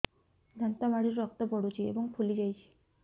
ଦାନ୍ତ ମାଢ଼ିରୁ ରକ୍ତ ପଡୁଛୁ ଏବଂ ଫୁଲି ଯାଇଛି